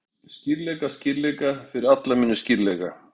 Skýrleika, skýrleika, fyrir alla muni skýrleika!